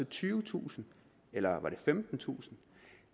tyvetusind eller var det femtentusind